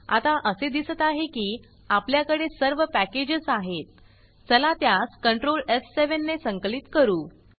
आता असे दिसत आहे की आपल्याकडे सर्व पॅकेजस आहेत चला त्यास कंट्रोल एफ7 ने संकलित करू